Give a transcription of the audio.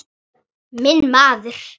Minn maður!